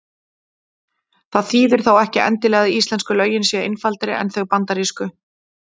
Það þýðir þó ekki endilega að íslensku lögin séu einfaldari en þau bandarísku.